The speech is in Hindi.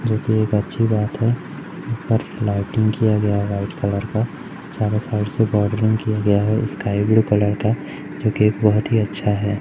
जोकि एक अच्छी बात है और लाइटिंग किया गया है वाइट कलर का सारा साइड से बोडरिंग किया गया है स्काई ब्लू कलर का जोकि बहोत ही अच्छा है।